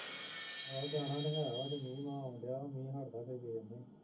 ਆਹੋ ਜਾਣਾ ਤੇ ਹੈ ਵਾਂ ਮੀਂਹ ਮਾਹ ਆਉਣ ਦਿਆ ਵਾ ਮੀਂਹ ਹਟਦਾ ਫਿਰ ਵੇਖਦੇ